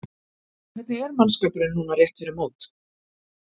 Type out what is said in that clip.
Hvernig er mannskapurinn núna rétt fyrir mót?